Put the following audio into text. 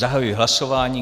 Zahajuji hlasování.